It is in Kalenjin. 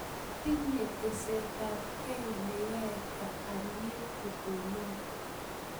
tinye testai ab kei ne yae alyet kotonon